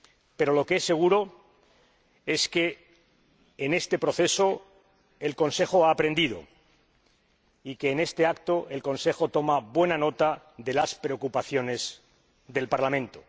Pero lo que es seguro es que en este proceso el Consejo ha aprendido y que en este acto el Consejo toma buena nota de las preocupaciones del Parlamento.